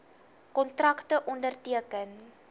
kontrakte onderteken